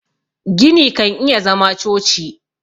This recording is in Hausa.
gini kan iya zama choci